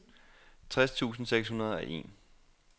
tres tusind seks hundrede og en